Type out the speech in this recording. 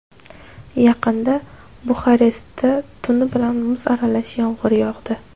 Yaqinda Buxarestda tuni bilan muz aralash yomg‘ir yog‘di.